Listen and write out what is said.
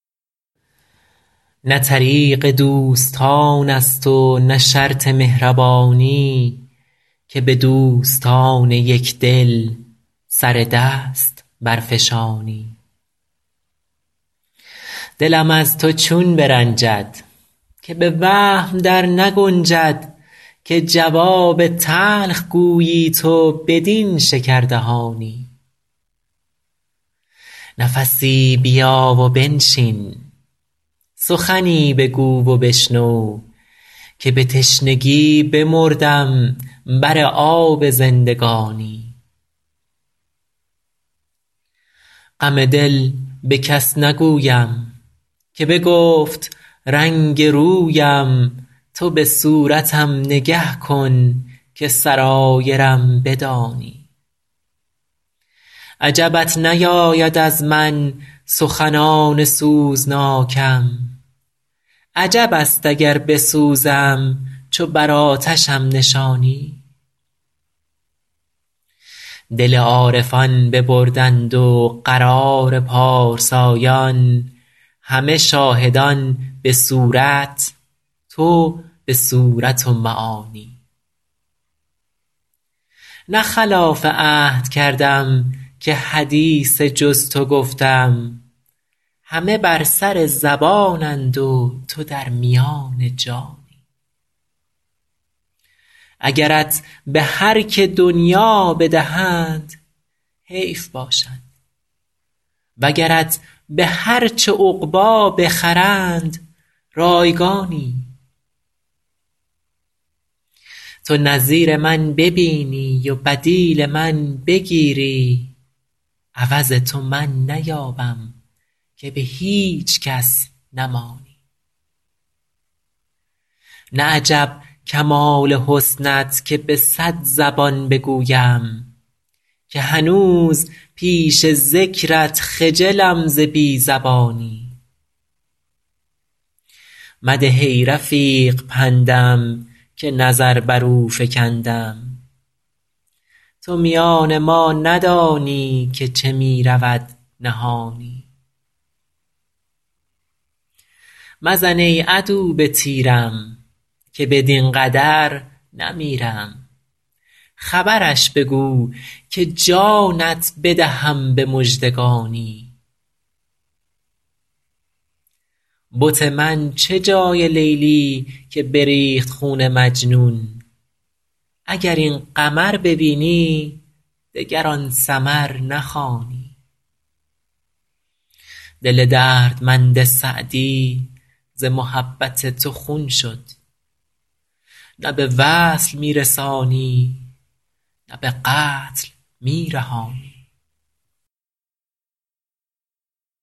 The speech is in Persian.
نه طریق دوستان است و نه شرط مهربانی که به دوستان یک دل سر دست برفشانی دلم از تو چون برنجد که به وهم در نگنجد که جواب تلخ گویی تو بدین شکردهانی نفسی بیا و بنشین سخنی بگو و بشنو که به تشنگی بمردم بر آب زندگانی غم دل به کس نگویم که بگفت رنگ رویم تو به صورتم نگه کن که سرایرم بدانی عجبت نیاید از من سخنان سوزناکم عجب است اگر بسوزم چو بر آتشم نشانی دل عارفان ببردند و قرار پارسایان همه شاهدان به صورت تو به صورت و معانی نه خلاف عهد کردم که حدیث جز تو گفتم همه بر سر زبانند و تو در میان جانی اگرت به هر که دنیا بدهند حیف باشد وگرت به هر چه عقبی بخرند رایگانی تو نظیر من ببینی و بدیل من بگیری عوض تو من نیابم که به هیچ کس نمانی نه عجب کمال حسنت که به صد زبان بگویم که هنوز پیش ذکرت خجلم ز بی زبانی مده ای رفیق پندم که نظر بر او فکندم تو میان ما ندانی که چه می رود نهانی مزن ای عدو به تیرم که بدین قدر نمیرم خبرش بگو که جانت بدهم به مژدگانی بت من چه جای لیلی که بریخت خون مجنون اگر این قمر ببینی دگر آن سمر نخوانی دل دردمند سعدی ز محبت تو خون شد نه به وصل می رسانی نه به قتل می رهانی